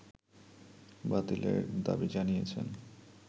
বাতিলের দাবি জানিয়েছেন